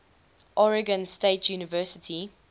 oregon state university